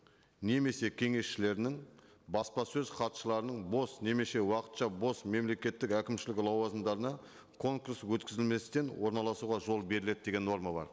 немесе кеңесшілерінің баспасөз хатшыларының бос немесе уақытша бос мемлекеттік әкімшілік лауазымдарына конкурс өткізілместен орналасуға жол беріледі деген норма бар